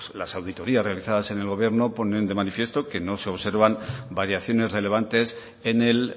las auditorías realizadas en el gobierno ponen de manifiesto que no se observan variaciones relevantes en el